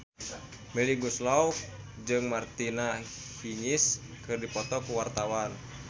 Melly Goeslaw jeung Martina Hingis keur dipoto ku wartawan